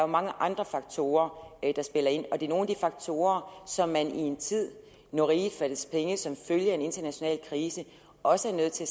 mange andre faktorer der spiller ind og det er nogle af de faktorer som man i en tid hvor riget fattes penge som følge af en international krise også er nødt til